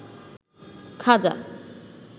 খাজা